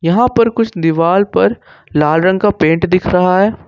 यहा पर कुछ दीवाल पर लाल रंग का पेन्ट दिख रहा है।